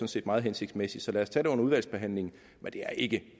set meget hensigtsmæssig så lad os tage det under udvalgsbehandlingen men det er ikke